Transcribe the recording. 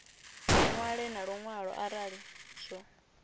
ṅwale na luṅwalo arali zwo